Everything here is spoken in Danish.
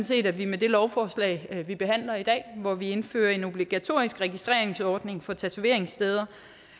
set at vi med det lovforslag vi behandler i dag hvor vi indfører en obligatorisk registreringsordning for tatoveringssteder